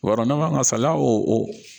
Yɔrɔ n'an man saliya o